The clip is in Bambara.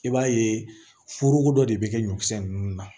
I b'a ye foroko dɔ de bɛ kɛ ɲɔkisɛ ninnu na